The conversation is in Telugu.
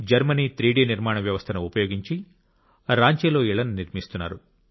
జర్మనీ 3 డి నిర్మాణ వ్యవస్థను ఉపయోగించి రాంచీలో ఇళ్ళని నిర్మిస్తున్నారు